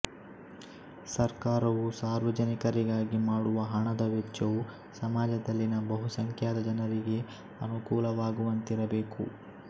ಸರ್ಕಾರವು ಸಾರ್ವಜನಿಕರಿಗಾಗಿ ಮಾಡುವ ಹಣದ ವೆಚ್ಚವು ಸಮಾಜದಲ್ಲಿನ ಬಹುಸಂಖ್ಯಾತ ಜನರಿಗೆ ಅನುಕೂಲವಾಗುವಂತಿರ ಬೇಕು